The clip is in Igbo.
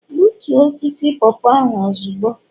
Gbutoo osisi popo ahu ozugbo!